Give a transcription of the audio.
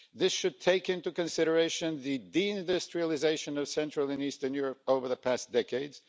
This should take into consideration the de-industrialisation of Central and Eastern Europe over the past decades.